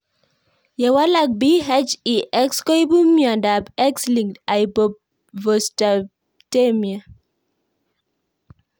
Ye walak PHEX koipu miondop X linked hypophosphatemia.